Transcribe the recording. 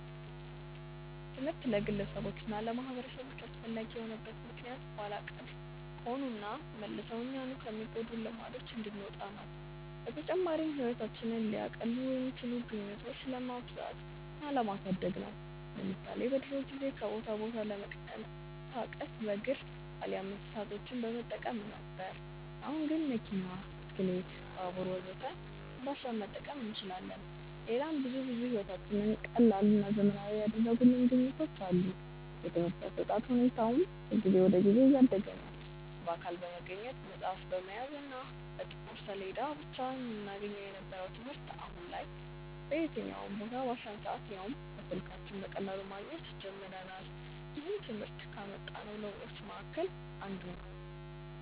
ትምህርት ለግለሰቦች እና ለማህበረሰቦች አስፈላጊ የሆነበት ምክንያት ኋላ ቀር ከሆኑና መልሰው እኛኑ ከሚጎዱን ልማዶች እንድንወጣ ነው። በተጨማሪም ህይወታችንን ሊያቀሉ የሚችሉ ግኝቶችን ለማብዛት እና ለማሳደግ ነው። ለምሳሌ በድሮ ጊዜ ከቦታ ቦታ ለመንቀሳቀስ በእግር አሊያም እንስሳቶችን በመጠቀም ነበር። አሁን ግን መኪና፣ ብስክሌት፣ ባቡር ወዘተ እንዳሻን መጠቀም እንችላለን። ሌላም ብዙ ብዙ ህይወታችንን ቀላልና ዘመናዊ ያደረጉልን ግኝቶች አሉ። የትምርህት አሰጣጥ ሁኔታውም ከጊዜ ወደ ጊዜ እያደገ ነዉ። በአካል በመገኘት፣ መፅሀፍ በመያዝ እና በጥቁር ሰሌዳ ብቻ እናገኘው የነበረውን ትምህርት አሁን ላይ በየትኛውም ቦታ፣ ባሻን ሰአት ያውም በስልካችን በቀላሉ ማግኘት ጀምረናል። ይህም ትምህርት ካመጣው ለውጦች መሀከል አንዱ ነው።